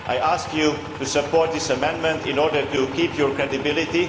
I ask you to support this amendment in order to keep your credibility.